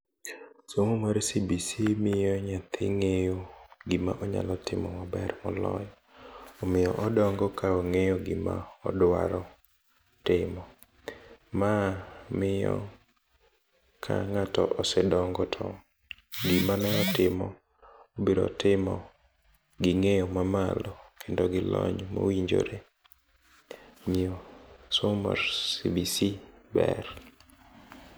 Somo mar CBC miyo nyathi ng'eyo gimonyalo timo maber moloyo, omiyo odongo kaong'eyo gima odwaro timo. Ma miyo ka ng'ato osedongo to gima ne otimo ,obiro timo ging'eyo mamalo kendo gi lony mowinjore omiyo somo CBC ber.